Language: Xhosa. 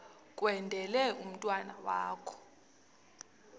kwendele umntwana wakho